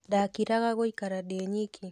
Ndakĩraga gũikara ndĩ nyiki